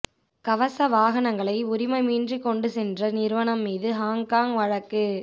கவச வாகனங்களை உரிமமின்றி கொண்டு சென்ற நிறுவனம் மீது ஹாங்காங் வழக்கு